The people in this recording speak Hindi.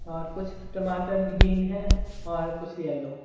और कुछ टमाटर ग्रीन है और कुछ येलो ।